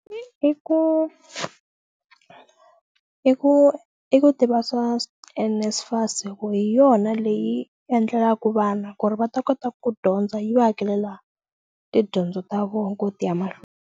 I ku i ku i ku tiva swa NSFAS hi ku hi yona leyi endlelaku vana ku ri va ta kota ku dyondza yi va hakelela tidyondzo ta vona ku ti ya mahlweni.